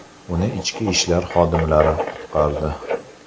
Uni ichki ishlar xodimlari qutqardi.